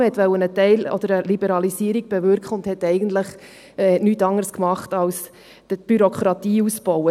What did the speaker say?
Man wollte eine Teil- oder eine Liberalisierung bewirken, machte aber eigentlich nichts anderes, als die Bürokratie auszubauen.